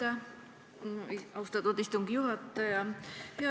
Aitäh, austatud istungi juhataja!